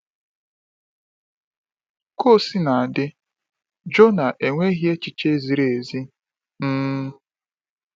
Ka o sina dị, Jona enweghị echiche ziri ezi. um